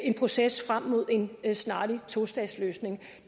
en proces frem mod en snarlig tostatsløsning